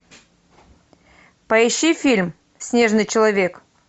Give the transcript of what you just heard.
поищи фильм снежный человек